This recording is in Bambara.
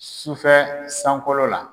Sufɛ sankolo la